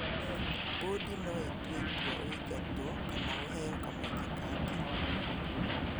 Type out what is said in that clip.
Mbũndi no ĩtue itua ũingatwo kana ũheo kamweke kangĩ